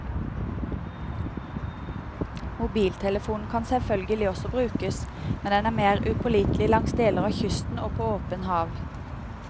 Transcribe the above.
Mobiltelefonen kan selvfølgelig også brukes, men den er mer upålitelig langs deler av kysten og på åpent hav.